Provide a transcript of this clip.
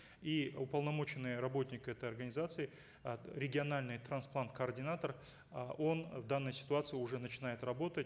и уполномоченный работник этой организации э региональный трансплант координатор э он в данной ситуации уже начинает работать